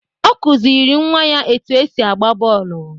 Ọ kụziri nwa ya etu esi agba bọọlụ.